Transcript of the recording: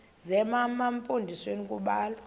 zema mpondomise kubalwa